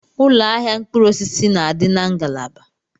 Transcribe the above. Ụlọ ahịa mkpụrụ osisi na-adị na ngalaba.